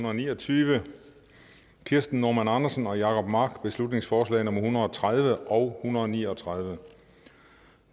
og ni og tyve kirsten normann andersen og jacob mark beslutningsforslag nummer hundrede og tredive og hundrede og ni og tredive